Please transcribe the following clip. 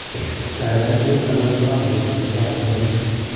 Kanyoiseet alak kotam ketesetai eng' sobeet